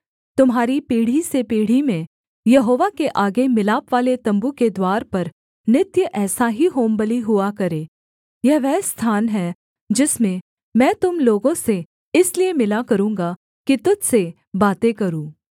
तुम्हारी पीढ़ी से पीढ़ी में यहोवा के आगे मिलापवाले तम्बू के द्वार पर नित्य ऐसा ही होमबलि हुआ करे यह वह स्थान है जिसमें मैं तुम लोगों से इसलिए मिला करूँगा कि तुझ से बातें करूँ